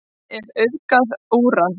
Hvað er að auðga úran?